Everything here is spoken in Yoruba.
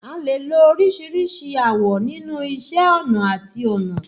A lè lo oríṣìíríṣìí awọ̀ nínú iṣẹ́ ọnà àti ọnà.